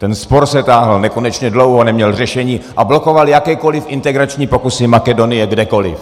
Ten spor se táhl nekonečně dlouho, neměl řešení a blokoval jakékoliv integrační pokusy Makedonie kdekoliv.